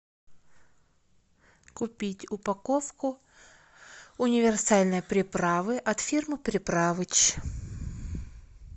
купить упаковку универсальной приправы от фирмы приправыч